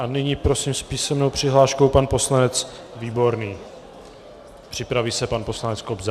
A nyní prosím, s písemnou přihláškou pan poslanec Výborný, připraví se pan poslanec Kobza.